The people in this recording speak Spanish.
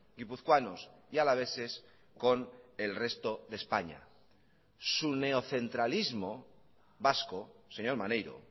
guipuzcoanos y alaveses con el resto de españa su neocentralismo vasco señor maneiro